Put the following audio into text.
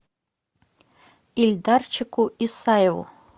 ильдарчику исаеву